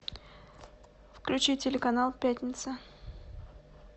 включи телеканал пятница